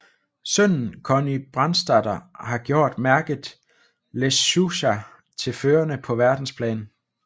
Sønnen Conny Brandstätter har gjort mærket Lechuza til førende på verdensplan